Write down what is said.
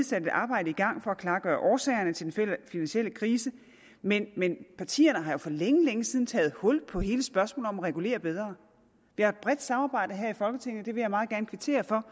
sat et arbejde i gang for at klargøre årsagerne til den finansielle krise men men partierne har jo for længe længe siden taget hul på hele spørgsmålet regulere bedre vi har et bredt samarbejde her i folketinget vil jeg meget gerne kvittere for